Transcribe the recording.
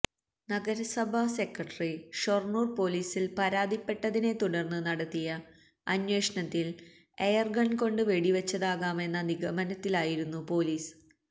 നഗരസഭാ സെക്രട്ടറി ഷൊർണൂർ പോലീസിൽ പരാതിപ്പെട്ടതിനെ തുടർന്ന് നടത്തിയ അന്വേഷണത്തിൽ എയർഗൺ കൊണ്ട് വെടിവച്ചതാകാമെന്ന നിഗമനത്തിലായിരുന്നു പോലീസ്